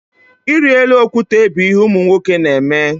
Ịrị elu okwute bụ ihe ụmụ nwoke na-eme.